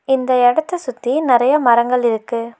இந்த எடத்த சுத்தி நெறைய மரங்கள் இருக்கு.